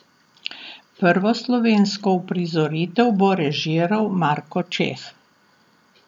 Prvo slovensko uprizoritev bo režiral Marko Čeh.